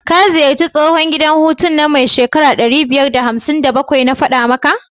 ka ziyarci tsohun gida hutu nan mai shekara ɗari biyar da hamsin da bakwai, na fada maka?